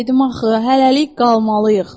Dedim axı, hələlik qalmalıyıq.